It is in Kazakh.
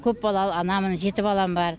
көпбалалы анамын жеті балам бар